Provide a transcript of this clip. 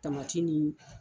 Tamati ni